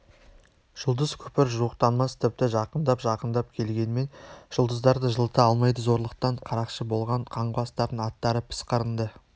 жұлдыз көпір жуықтамас тіпті жақындап-жақындап келгенмен жұлдыздар да жылыта алмайды зорлықтан қарақшы болған қаңғыбастардың аттары пысқырынды